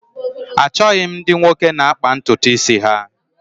Achọghị m ndị nwoke na-akpà ntutu isi ha